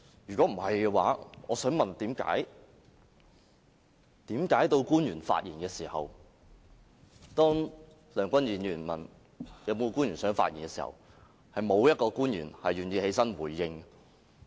如果不是，我想問為何到官員發言時，當梁君彥議員問是否有官員想發言時，是沒有官員願意起來回應的？